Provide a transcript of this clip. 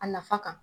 A nafa kan